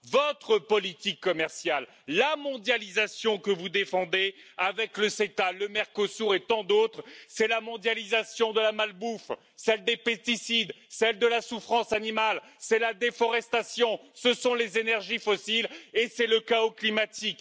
Votre politique commerciale, la mondialisation que vous défendez avec le CETA le Mercosur et tant d'autres, c'est la mondialisation de la malbouffe, celle des pesticides, celle de la souffrance animale, c'est la déforestation, ce sont les énergies fossiles et c'est le chaos climatique.